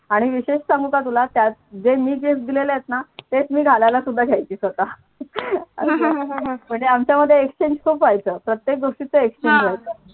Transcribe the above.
आणि विशेष सांगू का तुला त्यात जे मी gift दिलेले आहेत ना तेच मी घालायला सुद्धा घ्यायची स्वतः म्हणजे आमच्या मध्ये exchange खूप व्हायचं प्रत्येक गोष्टीच exchange व्हायचं